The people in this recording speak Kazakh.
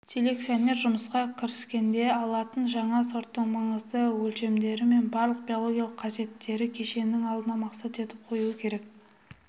селекционер жұмысқа кіріскенде алынатын жаңа сорттың маңызды өлшемдері мен барлық биологиялық қасиеттері кешенін алдына мақсат етіп қоюы керек